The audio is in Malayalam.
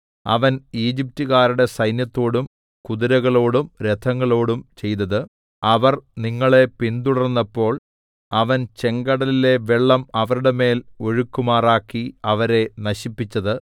അവൻ ഈജിപ്റ്റുകാരുടെ സൈന്യത്തോടും കുതിരകളോടും രഥങ്ങളോടും ചെയ്തത് അവർ നിങ്ങളെ പിന്തുടർന്നപ്പോൾ അവൻ ചെങ്കടലിലെ വെള്ളം അവരുടെ മേൽ ഒഴുകുമാറാക്കി അവരെ നശിപ്പിച്ചത്